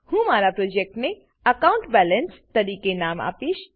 હું મારા પ્રોજેક્ટને અકાઉન્ટ બેલેન્સ તરીકે નામ આપીશ